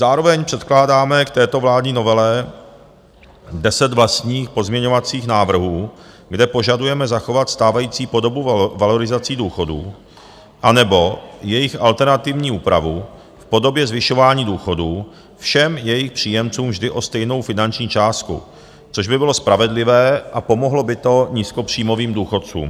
Zároveň předkládáme k této vládní novele deset vlastních pozměňovacích návrhů, kde požadujeme zachovat stávající podobu valorizací důchodů, anebo jejich alternativní úpravu v podobě zvyšování důchodů všem jejich příjemcům vždy o stejnou finanční částku, což by bylo spravedlivé a pomohlo by to nízkopříjmovým důchodcům.